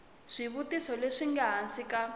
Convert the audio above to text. swivutiso leswi nga hansi ka